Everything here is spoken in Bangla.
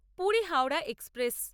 পুরী হাওড়া এক্সপ্রেস